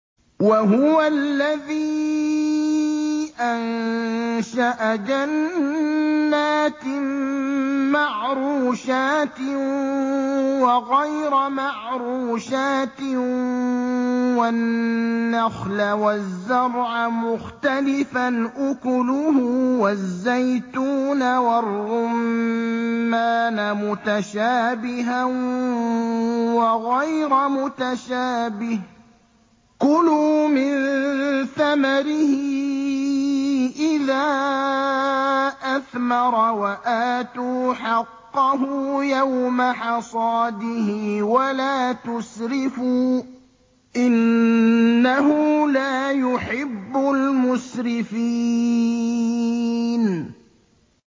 ۞ وَهُوَ الَّذِي أَنشَأَ جَنَّاتٍ مَّعْرُوشَاتٍ وَغَيْرَ مَعْرُوشَاتٍ وَالنَّخْلَ وَالزَّرْعَ مُخْتَلِفًا أُكُلُهُ وَالزَّيْتُونَ وَالرُّمَّانَ مُتَشَابِهًا وَغَيْرَ مُتَشَابِهٍ ۚ كُلُوا مِن ثَمَرِهِ إِذَا أَثْمَرَ وَآتُوا حَقَّهُ يَوْمَ حَصَادِهِ ۖ وَلَا تُسْرِفُوا ۚ إِنَّهُ لَا يُحِبُّ الْمُسْرِفِينَ